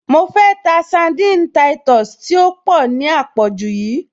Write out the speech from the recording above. Mo fẹ́ ta sandini táìtọ̀sì tí ó pọ̀ ní à pọ̀jù yíì